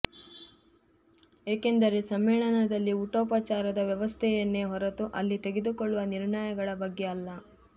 ಏಕೆಂದರೆ ಸಮ್ಮೇಳನದಲ್ಲಿ ಊಟೋಪಚಾರದ ವ್ಯವಸ್ಥೆಯನ್ನೇ ಹೊರತು ಅಲ್ಲಿ ತೆಗೆದುಕೊಳ್ಳುವ ನಿರ್ಣಯಗಳ ಬಗ್ಗೆ ಅಲ್ಲ